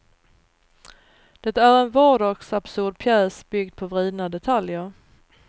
Det är en vardagsabsurd pjäs byggd på vridna detaljer.